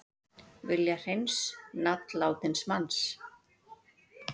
Vilja hreins nafn látins manns